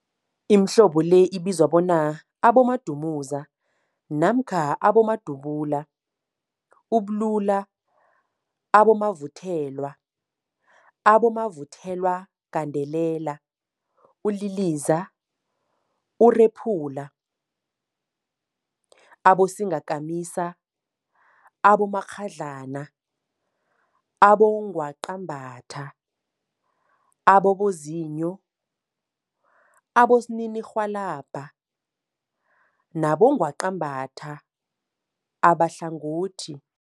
Imihlobo le ibizwa bona, abodumuza namkha abodubula, ububula, abomavuthelwa, abomavuthelwagandelela, uliliza, urephula, abosingakamisa, abomakghadlana, abongwaqabathwa, abongwaqabathwa ababozinyo, abongwaqabathwa abosininirhwalabha nabongwaqabatha abahlangothi.